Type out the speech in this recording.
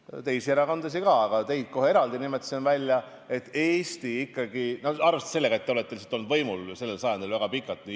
No teisi erakondasid ka, aga teid nimetasid kohe eraldi, arvestades sellega, et te olete olnud võimul sellel sajandil väga pikalt.